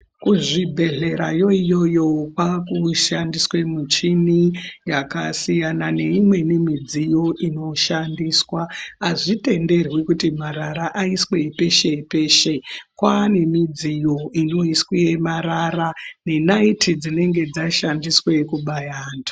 Kuzvibhedhlerayo iyoyo kwakushandiswe michini yakasiyana neimweni midziyo inoshandiswa. Azvitenderwi kuti marara aiswe peshe peshe. Kwaane midziyo inoiswe marara nenayiti dzinenge dzashandiswe kubaya antu.